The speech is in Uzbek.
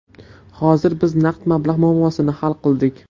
Hozir biz naqd mablag‘ muammosini hal qildik.